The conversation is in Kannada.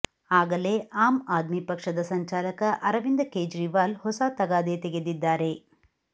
ಆಗಲೇ ಆಮ್ ಆದ್ಮಿ ಪಕ್ಷದ ಸಂಚಾಲಕ ಅರವಿಂದ ಕೇಜ್ರಿವಾಲ್ ಹೊಸ ತಗಾದೆ ತೆಗೆದಿದ್ದಾರೆ